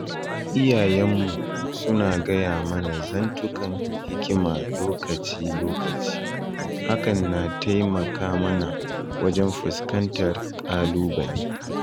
Iyayenmu suna gaya mana zantukan hikima lokaci-lokaci hakan na taimaka mana wajen fuskantar kalubale.